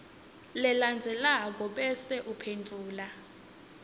lelandzelako bese uphendvula